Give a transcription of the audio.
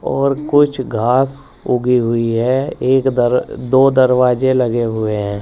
और कुछ घास उगी हुई है। एक दर दो दरवाजे लगे हुए हैं।